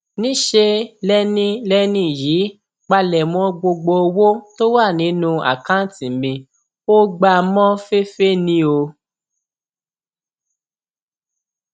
níṣẹ lẹni lẹni yìí pálẹmọ gbogbo owó tó wà nínú àkáùntì mi ò gbá a mọ féfé ni o